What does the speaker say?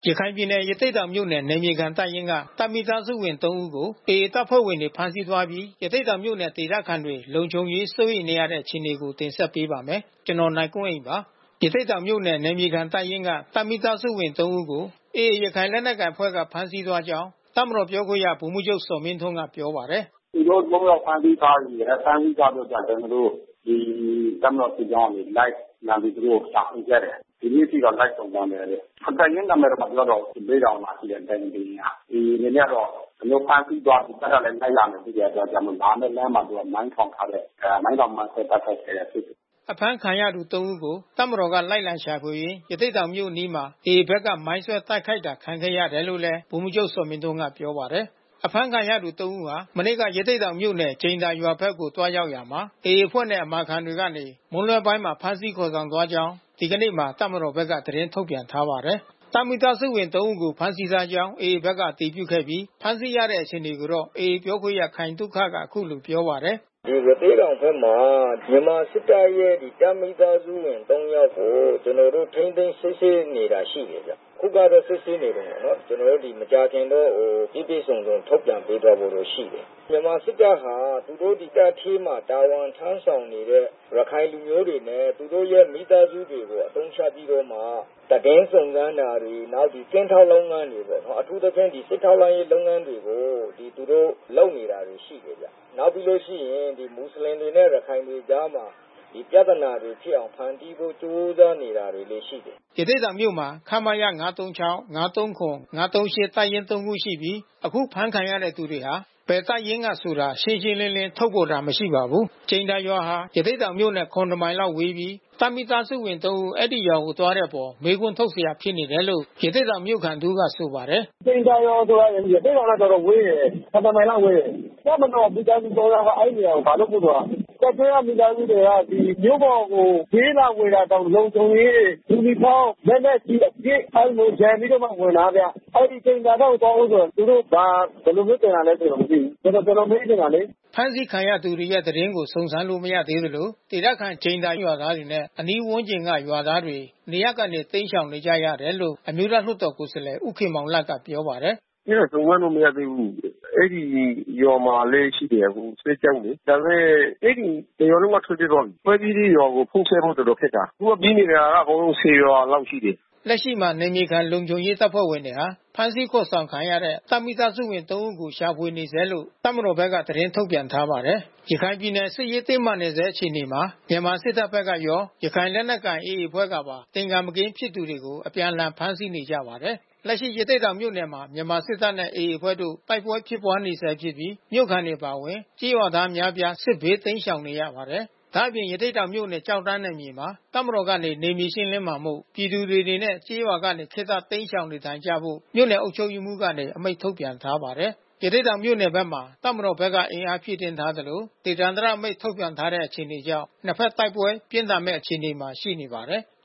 ရခိုင်ပြည်နယ်၊ ရသေ့တောင်မြို့နယ်၊ နယ်မြေခံတပ်ရင်းက တပ်မိသားစုဝင် သုံး ဦးကို AA တပ်ဖွဲ့ဝင်တွေ ဖမ်းဆီးသွားပြီး ရသေ့တောင်မြို့နယ် ဒေသခံတွေ လုံခြုံရေးစိုးရိမ်နေရတဲ့ အခြေအနေကို ဗွီအိုအေမြန်မာပိုင်းသတင်းထောက် ကိုနိုင်ကွန်းအိန်က တင်ဆက်ပေးပါမယ်။ ရသေ့တောင်မြို့နယ်၊ နယ်မြေခံတပ်ရင်းမှ တပ်မိသားစုဝင် သုံး ဦးကို AA ရခိုင်လက်နက်ကိုင်အဖွဲ့က ဖမ်းဆီးသွားကြောင်း တပ်မတော်ပြောခွင့်ရ ဗိုလ်မှူးချုပ်ဇော်မင်းထွန်းကပြောပါတယ်။ “သူတို့ သုံးယောက်ကို ဖမ်းဆီးသွားပြီး၊ ဖမ်းဆီးထားပြီးတော့ ကျနော်တို့ ဒီတပ်မတော်စစ်ကြောင်းကနေ သူတို့ကို လိုက်လံရှာဖွေခဲ့တယ်။ ယနေ့အထိတော့ လိုက်စုံစမ်းဆဲပဲ။ တပ်ရင်းနာမည်တော့ မပြောတော့ဘူး။ ရသေ့တောင်မှာ ရှိတဲ့ တပ်ရင်း တရင်းကပဲ။ AA အနေနဲ့တော့ ဒီလိုမျိုး ဖမ်းဆီးသွားပြီး တပ်ကလည်း လိုက်လာမယ်ဖြစ်တဲ့အတွက် လာမယ့် လမ်းမှာ မိုင်းထောင်ထားတယ်။ မိုင်းထောင်မိုင်းဆွဲတိုက်ခိုက်ခဲ့တဲ့ အဖြစ်တွေ။” အဖမ်းခံရသူ သုံး ဦးကို တပ်မတော်က လိုက်လံရှာဖွေရင်း ရသေ့တောင်မြို့အနီးမှာ AA ဘက်က မိုင်းဆွဲတိုက်ခိုက်တာခံခဲ့ရတယ်လို့ ဗိုလ်မှူးချုပ်ဇော်မင်းထွန်းကပြောပါတယ်။ အဖမ်းခံရသူ သုံးဦးဟာ မနေ့က ရသေ့တောင်မြို့နယ် ကြိမ်သာရွာဘက် သွားရောက်ရာမှာ AA အဖွဲ့နဲ့ အမာခံတွေကနေ မနေ့မွန်းလွှဲပိုင်းမှာ ဖမ်းဆီးခေါ်ဆောင်သွားကြောင်း ဒီကနေ့မှာ တပ်မတော်ဘက်က သတင်းထုတ်ပြန်ထားပါတယ်။ တပ်မိသားစုဝင် သုံး ဦးကို ဖမ်းဆီးထားကြောင်း AA ဘက်အတည်ပြုခဲ့ပြီး ဖမ်းဆီးရတဲ့အခြေအနေကိုတော့ AA ပြောခွင့်ရ ခိုင်သုခက အခုလိုပြောပါတယ်။ “ဒီရသေ့တောင်ဘက်မှာ မြန်မာစစ်တပ်ရဲ့တပ်မိသားစုဝင် သုံး ယောက်ကို ကျနော်တို့ ထိန်းသိမ်း စစ်ဆေးနေတာရှိတယ်။ အခုကတော့ စစ်ဆေးနေတုန်းပဲ မကြာခင်တော့ပြည့်ပြည့်စုံစုံ ထုတ်ပြန်ပေးသွားဖို့တော့ ရှိတယ်။ မြန်မာစစ်တပ်ဟာ သူတို့ တပ်ထဲမှာ တာဝန်ထမ်းဆောင်နေတဲ့ ရခိုင်လူမျိုးတွေနဲ့ သူတို့ မိသားစုဝင်တွေကို အသုံးချပြီးတော့မှ သတင်းစုံစမ်းတာတွေ နောက်ကင်းထောက်လုပ်ငန်းတွေပေါ့နော်။ အထူးသဖြင့် စစ်ထောက်လှမ်းရေးလုပ်ငန်းတွေကို သူတို့လုပ်နေတာ တွေရှိတယ်ဗျ။ နောက်ပြီးလို့ရှိရင် မူဆလင်တွေနဲ့ ရခိုင်တွေအကြားမှာ ပြဿနာတွေဖြစ်အောင် ဖန်တီးဖို့ ကြိုးစားနေတာတွေလည်း ရှိတယ်။” ရသေ့တောင်မြို့မှာ ခမရ တပ်ရင်းသုံးခုရှိပြီး ယခုဖမ်းဆီးခံရသူတွေဟာ ဘယ်တပ်ရင်းကဆိုတာ ရှင်းရှင်းလင်းလင်း ထုတ်ဖေါ်တာ မရှိပါဘူး။ ကြိမ်သာရွာဟာ ရသေ့တောင်မြို့နဲ့ ၇ မိုင်လောက်ဝေးပြီး တပ်မိသားစုဝင် ၃ ဦး အဲဒီရွာကိုသွားတဲ့အပေါ် မေးခွန်းထုတ်စရာဖြစ်နေတယ်လို့ ရသေ့တောင်မြို့ခံ တဦးကဆိုပါတယ်။ “ကြိမ်သာရွာဆိုတာ ရသေ့တောင်နဲ့ တော်တော်လေးဝေးတယ်။ ၇ မိုင်လောက်ဝေးတယ်။ တပ်မတော်မိသားစုဝင် သုံး ယောက်က အဲဒီရွာကို ဘာလုပ်ဖို့ သွားတာလဲ။ တပ်ထဲကမိသားစုတွေက မြို့ပေါ်ကို ဈေးလာဝယ်တာတောင် လုံခြုံရေး ယူနီဖောင်း လက်နက်ကျည် အပြည့် အဲဒီလိုရံပြီးတော့မှ ဝင်တာဗျ။ အဲဒီကြိမ်သာဘက်သွားဖို့ဆိုရင် သူတို့ဘာ ဘယ်လို ဖြစ်ချင်တာလည်း ကျနော် မသိဘူး။ ဆိုတော့ ကျနော်မေးချင်တာလေ။” ဖမ်းဆီးခံရတဲ့သူတွေရဲ့သတင်း စုံစမ်းလို့ မရသေးသလို ဒေသခံကြိမ်ချောင်းရွာသားတွေနဲ့ အနီးဝန်းကျင်ရွာက ရွာသားတွေ နေရပ်ကနေ တိမ်းရှောင်နေကြတယ်လို့ အမျိုးသားလွှတ်တော်ကိုယ်စားလှယ် ဦးခင်မောင်လတ်ကပြောပါတယ်။ “အဲတာစုံစမ်းလို့ မရသေးဘူး။ အဲဒီရွာမှာလည်း ရှိတယ်။ အခု စစ်ကြောင်းလေ။ ဒါပေမဲ့ အဲဒီတရွာလုံးက ထွက်ပြေးသွားပြီ။ ထွက်ပြေးတဲ့ရွာကို ဖုန်းဆက်ဖို့ တော်တော်လေးခက်တာ။ အခုပြေးနေတာက အကုန်လုံး ၁၀ ရွာလောက်ရှိတယ်။” လက်ရှိမှာ နယ်မြေခံလုံခြုံရေးတပ်ဖွဲ့ဝင်တွေက ဖမ်းဆီးခေါ်ဆောင်ခံရတဲ့ တပ်မိသားစုဝင် သုံး ဦးကို ရှာဖွေနေဆဲလို့ တပ်မတော်ဘက်က သတင်းထုတ်ပြန်ထားပါတယ်။ ရခိုင်ပြည်နယ် စစ်ရေးတင်းမာဆဲအခြေအနေမှာ မြန်မာစစ်တပ်ဘက်ကရော ရခိုင်လက်နက်ကိုင် AA အဖွဲ့ကပါ သင်္ကာမကင်းဖြစ်သူတွေကို အပြန်အလှန်ဖမ်းဆီးနေကြပါတယ်။ လက်ရှိ ရသေ့တောင်မြို့နယ်မှာ မြန်မာစစ်တပ်နဲ့ AA အဖွဲ့တို့ တိုက်ပွဲဖြစ်ပွါးနေဆဲဖြစ်ပြီး မြို့ခံတွေအပါဝင် ကျေးရွာသား အများပြား စစ်ဘေးတိမ်းရှောင်နေရပါတယ်။ ဒါ့အပြင်ရသေ့တောင်မြို့နယ် ကျောက်တန်းနယ်မြေမှာ တပ်မတော်မှ နယ်မြေရှင်းလင်းမှာမို့ ပြည်သူတွေအနေနဲ့ ကျေးရွာကနေ ခေတ္တရှောင်တိမ်းနေထိုင်ကြဖို့ မြို့နယ်အုပ်ချုပ်ရေးမှူးကနေ အမိန့်ထုတ်ပြန်ထားပါတယ်။ ရသေ့တောင်မြို့နယ်ဘက်မှာ တပ်မတော်ဘက်က အင်အားဖြည့်တင်းထားသလို ဒေသန္တရအမိန့် ထုတ်ပြန်ထားတဲ့ အခြေအနေတွေကြောင့် နှစ်ဘက်တိုက်ပွဲပြင်းထန်မယ့် အခြေအနေရှိနေပါတယ်။